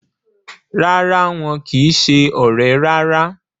Rárá, wọn kìí se ọ̀rẹ́ rárá